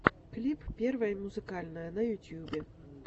клип первое музыкальное на ютюбе